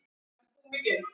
Hún ól mig líka upp.